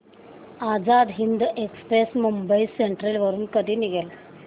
Azad Hind express Mumbai central वरून कधी निघेल